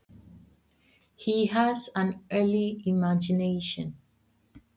Hann er með frjótt ímyndunarafl.